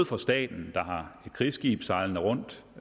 for staten der har et krigsskib sejlende rundt